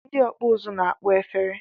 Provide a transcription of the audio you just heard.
Ndị ọkpụ uzu na-akpọ efere